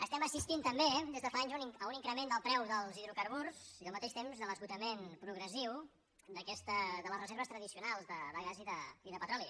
estem assistint també des de fa anys a un increment del preu dels hidrocarburs i al mateix temps a l’esgotament progressiu de les reserves tradicionals de gas i de petroli